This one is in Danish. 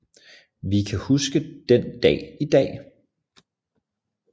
Jeg kan huske den den Dag i Dag